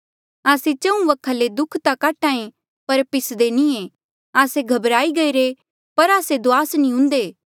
आस्से चहुँ वखा ले दुःख ता काट्हा ऐें पर पिसदे नी ऐें आस्से घबराई गईरे पर आस्से दुआस नी हुन्दे